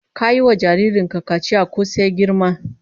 Ka yi wa jarrin ka kaciya ko sai ya girma?